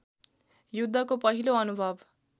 युद्धको पहिलो अनुभव